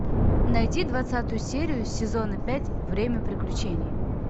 найди двадцатую серию сезона пять время приключений